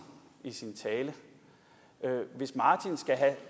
i sin tale men hvis martin skal have